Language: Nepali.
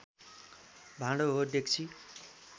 भाडो हो डेक्ची